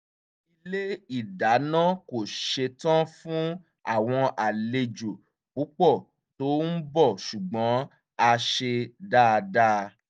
ilé ìdáná kò ṣetán fún àwọn àlejò púpọ̀ tó ń bọ̀ ṣùgbọ́n a ṣe dáadáa